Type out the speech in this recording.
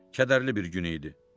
Kədərli bir gün idi.